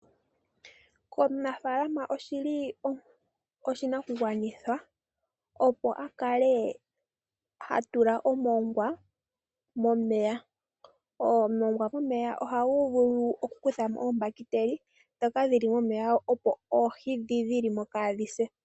Omunafaalama oshili oshinakugwanithwa opo hakale hatula omongwa momeya. Omongwa oha gu vulu oku dhipagamo oombahiteli ndhoka dhili momeya opo oohi ndho dhili mo kaadhise.